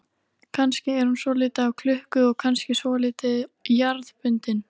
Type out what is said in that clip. Kannski er hún svolítið af klukku og kannski svolítið jarðbundin.